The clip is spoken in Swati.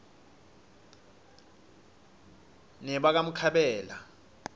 nebakamkhabela